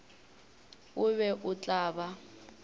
o be o tla ba